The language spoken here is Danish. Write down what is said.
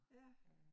Ja